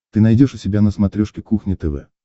ты найдешь у себя на смотрешке кухня тв